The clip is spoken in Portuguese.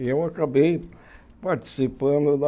E eu acabei participando da...